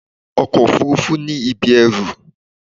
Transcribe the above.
Ọkọ òfúrúfú ní ibi ẹrù.